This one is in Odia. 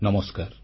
ନମସ୍କାର